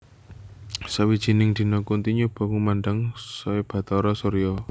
Sawijining dina Kunthi nyoba ngundhang Bathara Surya